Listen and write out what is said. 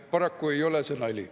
Paraku ei ole see nali.